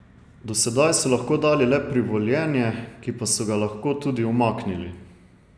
Do sedaj so lahko dali le privoljenje, ki pa so ga lahko tudi umaknili.